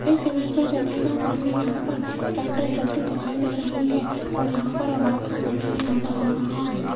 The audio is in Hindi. इस इमेज में देखिएगा सामने यहां पर कैंडल जलती दिखाई दे रही है और यहां पर और रात का समय भी नजर आ रहा हैं।